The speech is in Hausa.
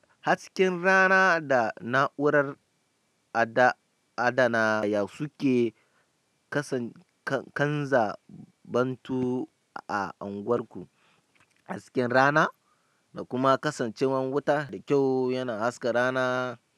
Hasken rana da na'urar adana ya suke kasa kanza bantu a anguwarku. Hasken rana da kuma kasancewan wuta da kyau yana haska rana.